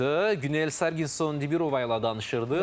Günel Sarginson Dibirova ilə danışırdıq.